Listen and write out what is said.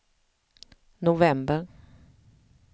november